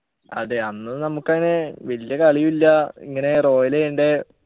അതെ അന്ന് നമ്മുക്കങ് വല്യ കളിയു ഇല്ല ഇങ്ങനെ royal ചെയ്യണ്ടേ